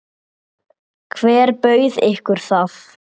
Hver bauð ykkur það?